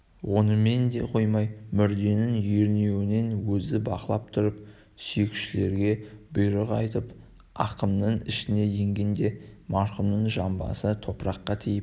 онымен де қоймай мүрденің ернеуінен өзі бақылап тұрып сүйекшілерге бұйрық айтып ақымның ішіне енгенде марқұмның жамбасы топыраққа тиіп